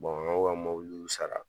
ka mɔgɔw ka mobiliw sara